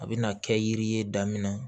A bɛna kɛ yiri ye daminɛ